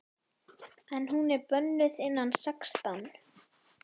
En hún er bönnuð innan sextán!